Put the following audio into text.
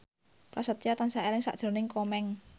Prasetyo tansah eling sakjroning Komeng